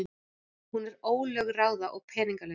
Hún er ólögráða og peningalaus.